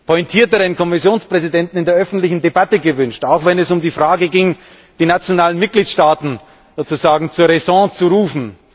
pointierteren Kommissionspräsidenten in der öffentlichen Debatte gewünscht, auch wenn es um die Frage ging, die nationalen Mitgliedstaaten zur Räson zu rufen.